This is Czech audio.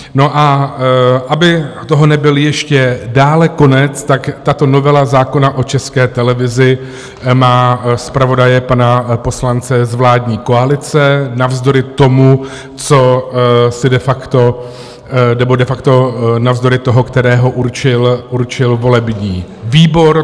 No a aby toho nebyl ještě dále konec, tak tato novela zákona o České televizi má zpravodaje pana poslance z vládní koalice navzdory tomu, co si de facto, nebo de facto navzdory toho, kterého určil volební výbor.